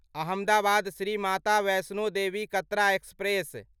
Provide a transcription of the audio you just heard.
Ahmedabad Shri Mata Vaishno Devi Katra express